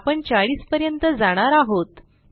आपण 40 पर्यंत जाणार आहोत